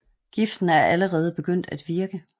Giften er allerede begyndt at virke